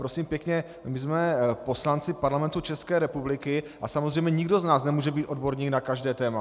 Prosím pěkně, my jsme poslanci Parlamentu České republiky a samozřejmě nikdo z nás nemůže být odborníkem na každé téma.